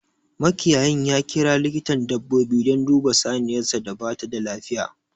Makiyayin ya kira likitan dabbobi dan duba saniyarsa da bata da lafiya